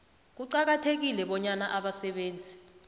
kuqakathekile bonyana abasebenzi